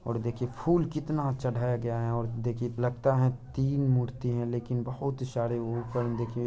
और देखिए फूल कितना चढ़ाया गया है और देखिए लगता है तीन मूर्तियां है लेकिन बहुत ही सारे ऊपर देखिए --